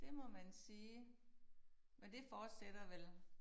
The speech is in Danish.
Det må man sige men det fortsætter vel